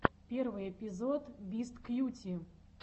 первый эпизод бисткьюти